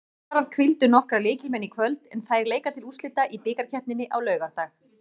Valsarar hvíldu nokkra lykilmenn í kvöld en þær leika til úrslita í bikarkeppninni á laugardag.